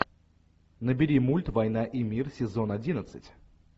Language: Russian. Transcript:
набери мульт война и мир сезон одиннадцать